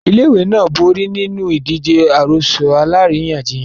Ilé-ìwé náà borí nínú ìdíje àròsọ alárìíyànjiyàn.